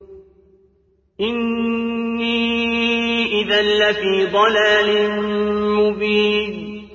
إِنِّي إِذًا لَّفِي ضَلَالٍ مُّبِينٍ